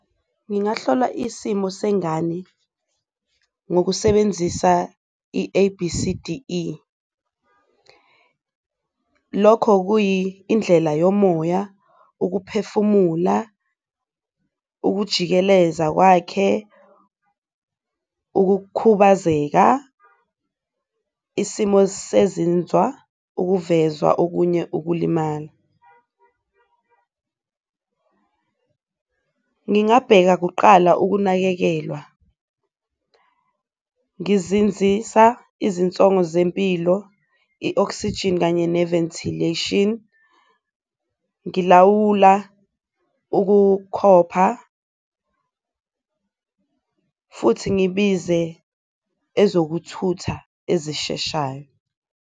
Ngingahlola isimo sengane ngokusebenzisa i-A_B_C_D_E lokho kuyi indlela yomoya, ukuphefumula, ukujikeleza kwakhe, ukukhubazeka, isimo sezinzwa, ukuvezwa okunye ukulimala. Ngingabheka kuqala ukunakekelwa, ngizinzisa izinsongo zempilo, i-oxygen kanye ne-ventilation, ngilawula ukukhopha futhi ngibize ezokuthutha ezisheshayo.